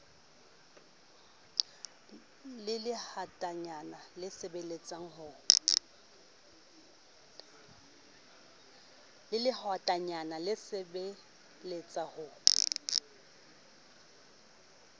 le lehwatatanyana le saballetse ho